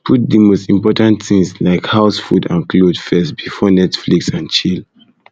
put di most important things like house food and cloth first before netflix and chill